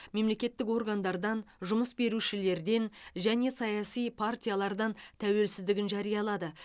мемлекеттік органдардан жұмыс берушілерден және саяси партиялардан тәуелсіздігін жариялады